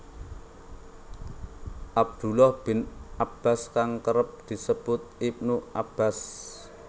Abdullah bin Abbas kang kerep disebut Ibnu Abbas